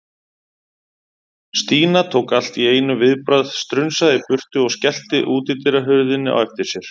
Stína tók allt í einu viðbragð, strunsaði í burtu og skellti útidyrahurðinni á eftir sér.